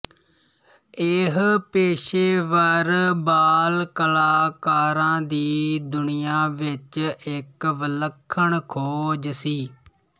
ਇਹ ਪੇਸ਼ੇਵਰ ਬਾਲ ਕਲਾਕਾਰਾਂ ਦੀ ਦੁਨੀਆ ਵਿੱਚ ਇੱਕ ਵਿਲੱਖਣ ਖੋਜ ਸੀ